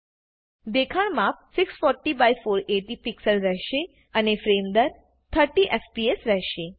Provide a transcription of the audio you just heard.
દેખાણ માપ 640480 પીક્સલ રહેશે અને ફ્રેમ દર 30એફપીએસ રહેશે